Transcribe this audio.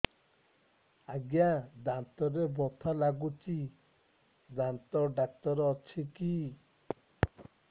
ଆଜ୍ଞା ଦାନ୍ତରେ ବଥା ଲାଗୁଚି ଦାନ୍ତ ଡାକ୍ତର ଅଛି କି